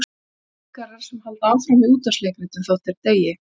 Eins og leikarar sem halda áfram í útvarpsleikritum þótt þeir deyi.